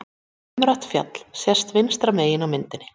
umrætt fjall sést vinstra megin á myndinni